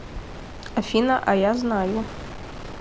афина а я знаю